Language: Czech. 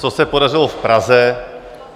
Co se podařilo v Praze?